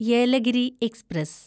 Yelagiri express